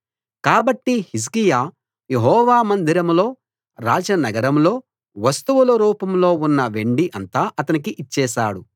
కాబట్టి హిజ్కియా యెహోవా మందిరంలో రాజనగరంలో వస్తువుల రూపంలో ఉన్న వెండి అంతా అతనికి ఇచ్చేశాడు